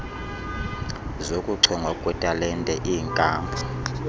zokuchongwa kwetalente iinkampu